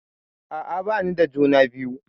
A'a bani da juna biyu.